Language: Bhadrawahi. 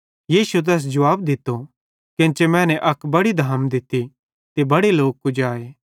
यीशुए तैस जुवाब दित्तो केन्चे मैने अक बड़ी धाम दित्ती ते बड़े लोक कुजाए